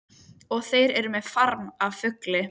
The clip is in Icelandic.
Og þeir eru með farm af fugli.